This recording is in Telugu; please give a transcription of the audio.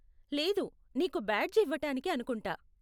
లేదు, నీకు బ్యాడ్జ్ ఇవ్వటానికి అనుకుంటా.